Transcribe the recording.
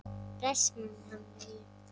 Bless mamma mín.